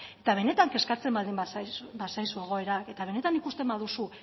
eta benetan kezkatzen baldin bazaizu egoerak eta benetan ikusten baduzu